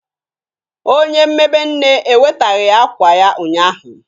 Onye mmebe Nne ewetaghi ya akwa ya ụnyahụ